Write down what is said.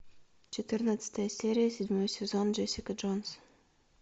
четырнадцатая серия седьмой сезон джессика джонс